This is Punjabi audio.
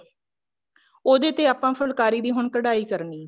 ਉਹਦੇ ਤੇ ਆਪਾਂ ਹੁਣ ਫੁਲਕਾਰੀ ਦੀ ਕਢਾਈ ਕਰਨੀ ਹੈ